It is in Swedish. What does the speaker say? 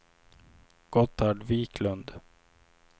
Gotthard Viklund